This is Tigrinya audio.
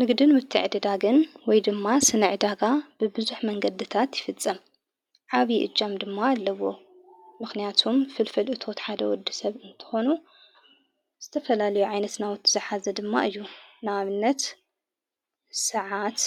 ንግድን ምትዕ ድዳግን ወይ ድማ ስነ ዕዳጋ ብብዙኅ መንገድታት ይፍጽም አብይ እጃም ድማ ኣለዎ ምኽንያቱም ፍልፈል እቶት ሓደ ወዲ ሰብ እንተኮኑ ዝተፈላለዮ ዓይነት ናዊትኃዘ ድማ እዩ ናብነት ሠዓት